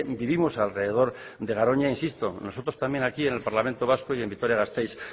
vivimos alrededor de garoña insisto nosotros también aquí en el parlamento vasco y en vitoria gasteiz